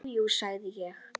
Jú, jú, sagði ég.